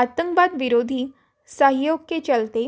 आतंकवाद विरोधी सहयोग के चलते